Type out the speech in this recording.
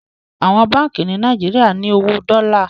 Àwọn Bánkì ni Nàìjíríà ní owó Dola.